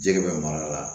Jɛgɛ bɛ mara la